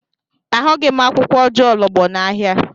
Ahụghị m akwụkwọ ojuologbo n'ahịa.